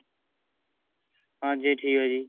ਹਾਂਜੀ ਠੀਕ ਐ ਜੀ